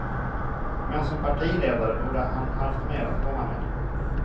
Men som partiledare borde han haft mer att komma med.